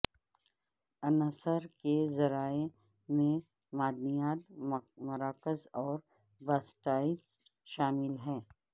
عنصر کے ذرائع میں معدنیات مراکز اور باسسٹاسائٹ شامل ہیں